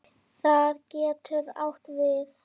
Það getur átt við